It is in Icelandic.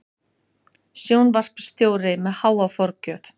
Sjónvarpsstjóri með háa forgjöf